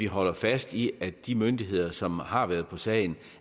holde fast i at de myndigheder som har været på sagen